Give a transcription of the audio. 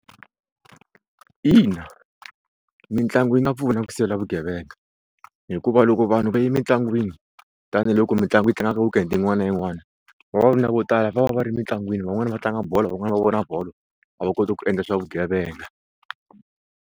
Ina, mitlangu yi nga pfuna ku sivela vugevenga hikuva loko vanhu va yi mintlangwini tanihiloko mitlangu yi tlanga ka weekend yi n'wana na yi n'wani vavanuna vo tala va va va ri mitlangwini van'wani va tlanga bolo van'wana va vona bolo a va koti ku endla swa vugevenga.